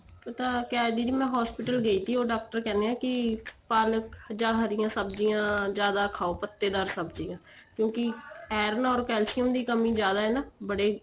ਪਤਾ ਕਿਆ ਦੀਦੀ ਮੈਂ hospital ਗਈ ਸੀ ਉਹ ਡਾਕਟਰ ਕਹਿੰਦੇ ਏ ਵੀ ਪਾਲਕ ਜਾਂ ਹਰੀਆਂ ਸਬਜੀਆਂ ਜਿਆਦਾ ਖਾਉ ਪਤੇਦਾਰ ਸਬਜੀਆਂ ਕਿਉਂਕਿ iron or calcium ਦੀ ਕੰਮੀ ਜਿਆਦਾ ਨਾ ਬੜੇ